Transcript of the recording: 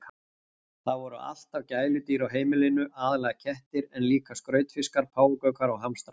Það voru alltaf gæludýr á heimilinu, aðallega kettir en líka skrautfiskar, páfagaukar og hamstrar.